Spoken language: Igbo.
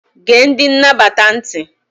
Gee ndị nnabata ntị!